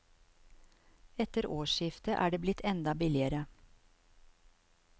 Etter årsskiftet er det blitt enda billigere.